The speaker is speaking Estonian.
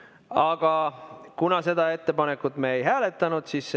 Aga seda ettepanekut me ei hääletanud.